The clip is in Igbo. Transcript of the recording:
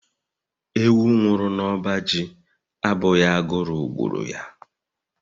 Ewu nwụrụ n'ọba ji abụghị agụrụ gburu ya..